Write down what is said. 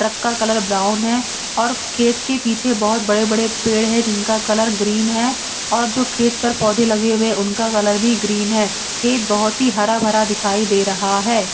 Truck का colour brown है और खेत के पीछे बहोत बड़े बड़े पेड़ है जिनका कलर ग्रीन है और जो खेत पर पौधे लगे हुए उनका कलर भी ग्रीन है खेत बहोत ही हरा भरा दिखाई दे रहा है।